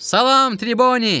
Salam, Triboni!